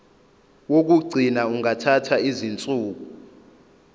wokugcina ungathatha izinsuku